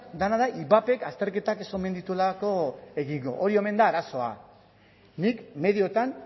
dena da ivapek azterketak ez omen dituelako egingo hori omen da arazoa nik medioetan